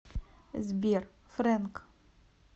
сбер фрэнк